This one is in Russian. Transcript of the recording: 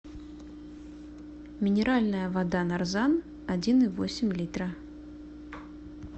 минеральная вода нарзан один и восемь литра